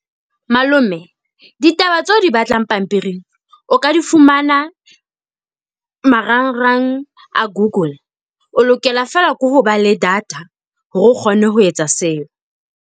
Malome, ditaba tseo o di batlang pampiring o ka di fumana marangrang a Google. O lokela feela ke ho ba le data hore o kgone ho etsa seo.